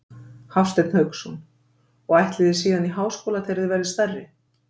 Hafsteinn Hauksson: Og ætlið þið síðan í háskóla þegar þið verðið stærri?